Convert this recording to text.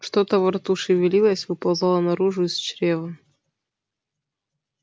что-то во рту шевелилось выползало наружу из чрева